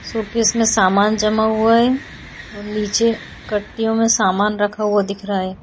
Showcase में सामान जमा हुआ है और नीचे कटियों में सामान रखा हुआ दिख रहा है।